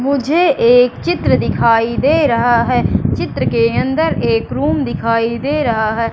मुझे एक चित्र दिखाई दे रहा है। चित्र के अंदर एक रूम दिखाई दे रहा है।